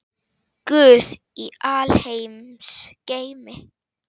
Guð í alheims geimi.